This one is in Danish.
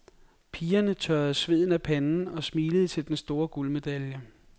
Pigerne tørrede sveden af panden og smilede til den store guldmedalje.